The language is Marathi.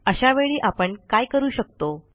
अशावेळी आपण काय करू शकतो